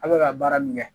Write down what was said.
A bɛ ka baara min kɛ